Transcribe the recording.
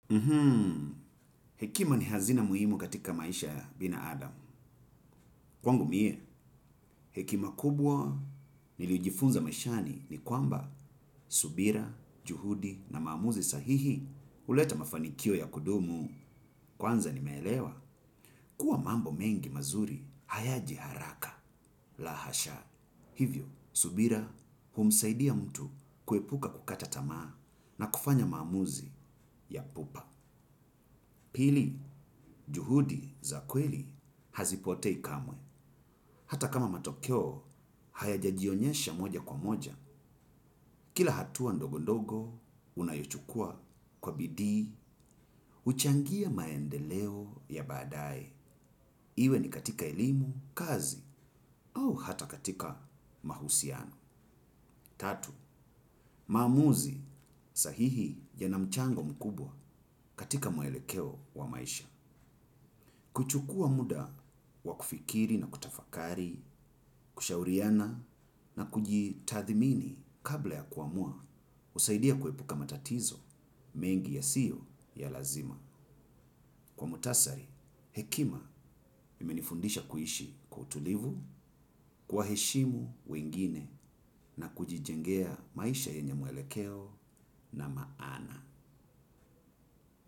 Mhmm, hekima ni hazina muhimu katika maisha. Binaadam. Kwangu mie, hekima kubwa nilijifunza maishani ni kwamba subira, juhudi na maamuzi sahihi huleta mafanikio ya kudumu kwanza nimelewa kuwa mambo mengi mazuri hayaji haraka. Laa hasha, hivyo, subira humsaidia mtu kuepuka kukata tamaa na kufanya mamuzi ya pupa. Pili, juhudi za kweli hazipotei kamwe. Hata kama matokeo, hayaja jionyesha moja kwa moja. Kila hatua ndogo ndogo, unayochukua kwa bidii, huchangia maendeleo ya baadae. Iwe ni katika elimu, kazi, au hata katika mahusiano. Tatu, maamuzi sahihi yana mchango mkubwa katika muelekeo wa maisha. Kuchukua muda wa kufikiri na kutafakari, kushauriana na kujitathimini kabla ya kuamua husaidia kuepuka matatizo mengi ya siyo ya lazima. Kwa muhtasari, hekima imenifundisha kuishi kwa utulivu, kuwaheshimu wengine na kujijengea maisha yenye mwelekeo na maana.